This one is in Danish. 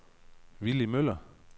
Villy Møller